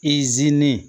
I sini